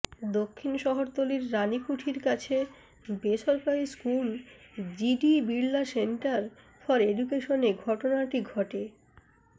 দক্ষিণ শহরতলির রানিকুঠির কাছে বেসরকারি school GD Birla centre for এডুকেশনে ঘটনাটি ঘটে